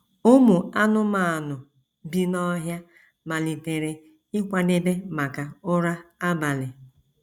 Ụmụ anụmanụ bi n’ọhịa malitere ịkwadebe maka ụra abalị.